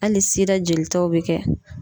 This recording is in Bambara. Hali sida jolitaw be kɛ.